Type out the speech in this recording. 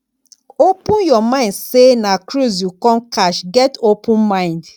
open your mind sey na cruise you come catch get open mind